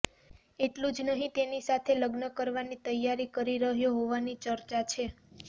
એટલુ જ નહીં તેની સાથે લગ્ન કરવાની તૈયારી કરી રહ્યો હોવાની ચર્ચા છે